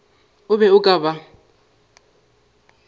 o be o ka ba